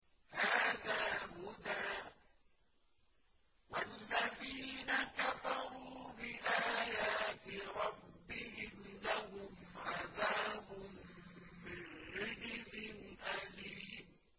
هَٰذَا هُدًى ۖ وَالَّذِينَ كَفَرُوا بِآيَاتِ رَبِّهِمْ لَهُمْ عَذَابٌ مِّن رِّجْزٍ أَلِيمٌ